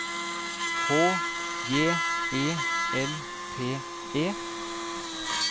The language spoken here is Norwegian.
H J E L P E